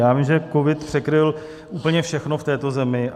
Já vím, že covid překryl úplně všechno v této zemi.